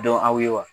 Dɔn aw ye wa